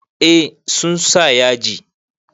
Eh sun sa yaji.